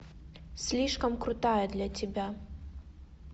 слишком крутая для тебя